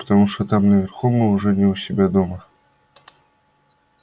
потому что там наверху мы уже не у себя дома